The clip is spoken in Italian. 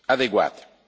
adeguate.